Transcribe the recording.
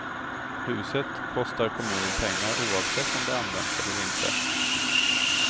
Huset kostar kommunen pengar oavsett om det används eller inte.